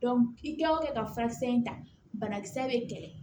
i kɛ o kɛ ka furakisɛ in ta banakisɛ bɛ kɛlɛ